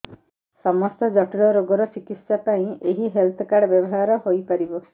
ସମସ୍ତ ଜଟିଳ ରୋଗର ଚିକିତ୍ସା ପାଇଁ ଏହି ହେଲ୍ଥ କାର୍ଡ ବ୍ୟବହାର ହୋଇପାରିବ